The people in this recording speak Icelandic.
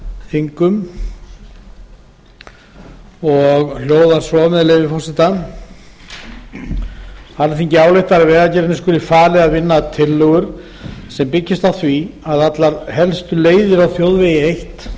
þingum hún hljóðar svo með leyfi forseta alþingi ályktar að vegagerðinni skuli falið að vinna tillögur sem byggist á því að allar helstu leiðir á þjóðvegi eitt